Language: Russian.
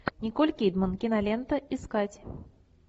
николь кидман кинолента искать